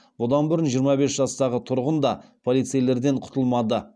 бұдан бұрын жиырма бес жастағы тұрғын да полицейлерден құтылмады